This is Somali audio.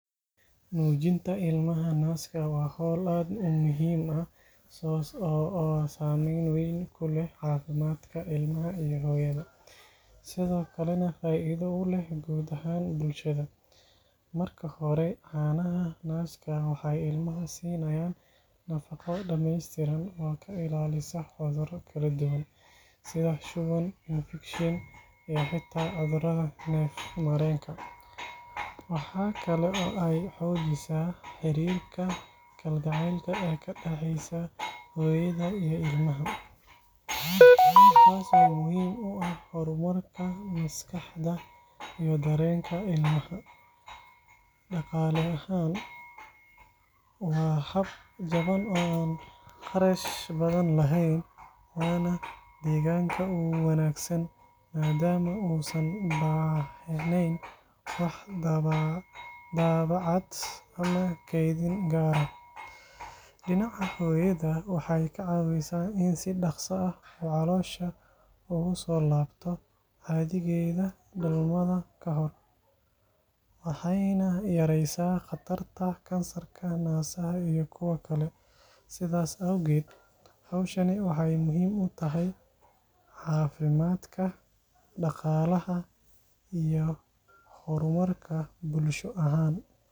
Nuujinta ilmaha naaska waa hawl aad u muhiim ah oo saameyn weyn ku leh caafimaadka ilmaha iyo hooyada, sidoo kalena faa’iido u leh guud ahaan bulshada. Marka hore, caanaha naaska waxay ilmaha siinayaan nafaqo dhammeystiran oo ka ilaalisa cudurro kala duwan, sida shuban, infekshan, iyo xitaa cudurrada neef-mareenka. Waxa kale oo ay xoojisaa xiriirka kalgacaylka ee ka dhexeeya hooyada iyo ilmaha, taas oo muhiim u ah horumarka maskaxda iyo dareenka ilmaha. Dhaqaale ahaan, waa hab jaban oo aan kharash badan lahayn, waana deegaanka u wanaagsan maadaama uusan baahneyn wax daabacaad ama kaydin gaar ah. Dhinaca hooyada, waxay ka caawisaa in si dhaqso ah uu caloosha ugu soo laabto caadigeedii dhalmada ka hor, waxayna yareysaa khatarta kansarka naasaha iyo kuwa kale. Sidaas awgeed, hawshani waxay muhiim u tahay caafimaadka, dhaqaalaha, iyo horumarka bulsho ahaan.